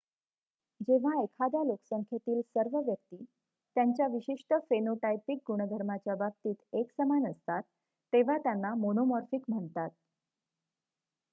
जेव्हा एखाद्या लोकसंख्येतील सर्व व्यक्ती त्यांच्या विशिष्ट फेनोटायपिक गुणधर्माच्या बाबतीत एकसमान असतात तेव्हा त्यांना मोनोमॉर्फिक म्हणतात